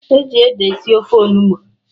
E ji ede esi ofe Onugbu